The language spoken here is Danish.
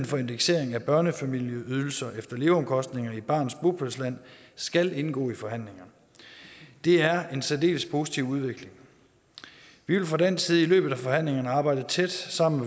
for indeksering af børnefamilieydelser efter leveomkostninger i barnets bopælsland skal indgå i forhandlingerne det er en særdeles positiv udvikling vi vil fra dansk side i løbet af forhandlingerne arbejde tæt sammen